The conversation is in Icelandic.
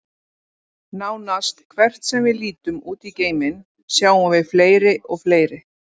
Nánast hvert sem við lítum út í geiminn, sjáum við fleiri og fleiri.